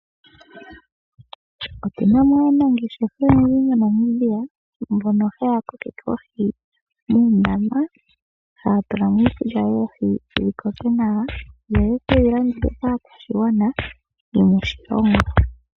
Otu na mo aanangeshefa oyendji moNamibia, mbono haya kokeke oohi muundama, haya tula mo iikulya yoohi, dhi koke nawa, yo ye kedhi landithe kaakwashigwana yomoshilongo.